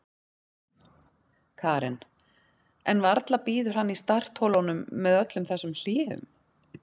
Karen: En varla bíður hann í startholunum með öllum þessum hléum?